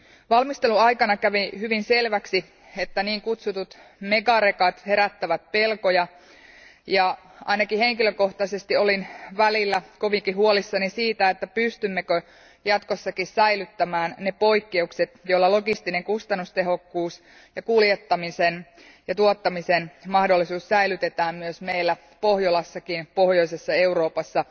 Valmistelun aikana kävi hyvin selväksi, että niin kutsutut megarekat herättävät pelkoja, ja ainakin henkilökohtaisesti olin välillä kovinkin huolissani siitä, että pystymmekö jatkossakin säilyttämään ne poikkeukset, joilla logistinen kustannustehokkuus ja kuljettamisen ja tuottamisen mahdollisuus säilytetään myös meillä pohjolassakin, pohjoisessa Euroopassa.